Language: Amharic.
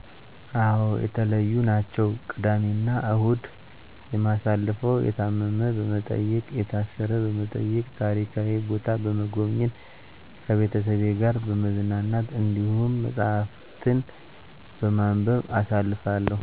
አዎ የተለዩ ናቸው። ቅዳሜ እናሁድ የማሳልፈው የታመመ በመጠየቅ፣ የታሰረ በመጠየቅ፣ ታሪካዊ ቦታ በሞጎብኘት፣ ከቤተሰቤ ጋር በመዝናናት፣ እንዲሁም መፀሀፍትን በማንበብ አሳልፋለሁ።